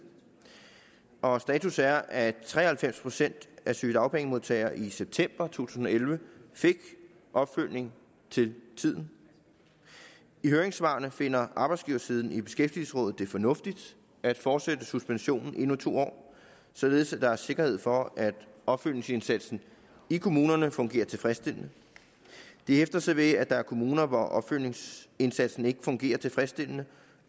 og status er at tre og halvfems procent af sygedagpengemodtagerne i september to tusind og elleve fik opfølgning til tiden i høringssvarene finder arbejdsgiversiden i beskæftigelsesrådet det fornuftigt at fortsætte suspensionen endnu to år således at der er sikkerhed for at opfølgningsindsatsen i kommunerne fungerer tilfredsstillende de hæfter sig ved at der er kommuner hvor opfølgningsindsatsen ikke fungerer tilfredsstillende